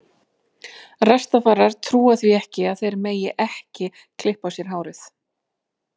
Rastafarar trúa því ekki að þeir megi ekki klippa á sér hárið.